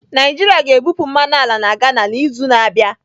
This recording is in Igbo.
Naijiria ga-ebupụ mmanụ ala na Ghana n'izu na-abịa.